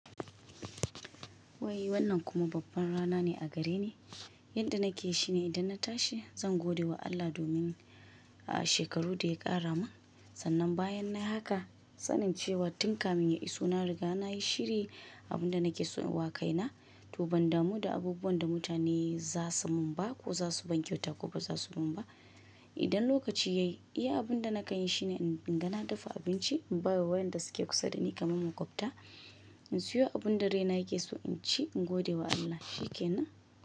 Wai wannan kuma babban rana ne a gare ni. Yanda nake shine, idan na tashi, zan gode wa Allah domin, a shekaru da ya ƙara min sannan bayan nayi haka, sanin cewa tun kafin ya iso na riga na yi shiri abun da nake so in wa kaina. To ban damu da abubuwan da mutane za su mun ba ko za su ban kyauta ko ba za su ban ba. Idan lokaci ya yi, abunda nakan yi shine in ga na dafa abinci in ba wa waƴanda suke kusa da ni kamar maƙwabta. In siyo abunda raina yake so in ci, in gode wa Allah. Shi kenan.